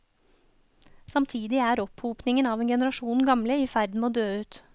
Samtidig er opphopningen av en generasjon gamle i ferd med å dø ut.